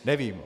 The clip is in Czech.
Nevím.